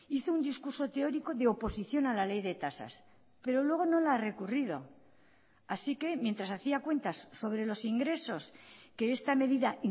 hizo un discurso teórico de oposición a la ley de tasas pero luego no la ha recurrido así que mientras hacía cuentas sobre los ingresos que esta medida